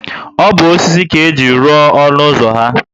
O bu osisi ka ejiri lụọ olu ụzọ ahu